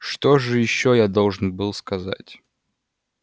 что же ещё я должен был сказать